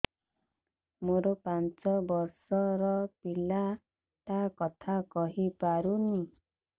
ମୋର ପାଞ୍ଚ ଵର୍ଷ ର ପିଲା ଟା କଥା କହି ପାରୁନି